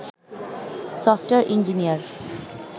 software engineer